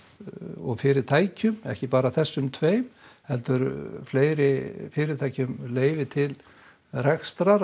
og fyrirtækjum ekki bara þessum tveim heldur fleiri fyrirtækjum leyfi til rekstrar